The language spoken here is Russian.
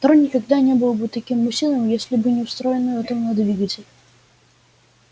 трон никогда не был бы таким массивным если бы не встроенный атомный двигатель